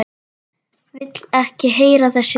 Vil ekki heyra þessi hljóð.